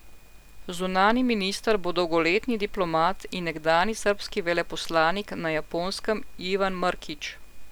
Zunanji minister bo dolgoletni diplomat in nekdanji srbski veleposlanik na Japonskem Ivan Mrkić.